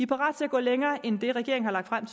parate til at gå længere end det regeringen har lagt frem